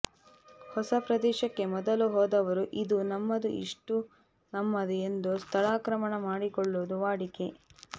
ಹೊಸ ಪ್ರದೇಶಕ್ಕೆ ಮೊದಲು ಹೋದವರು ಇದು ನಮ್ಮದು ಇಷ್ಟು ನಮ್ಮದು ಎಂದು ಸ್ಥಳಾಕ್ರಮಣ ಮಾಡಿಕೊಳ್ಳುವುದು ವಾಡಿಕೆ